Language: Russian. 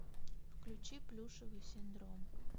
включи плюшевый синдром